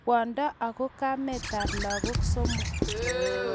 Kwondo ago kametab lagok somok